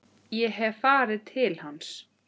Ég hef farið til hans.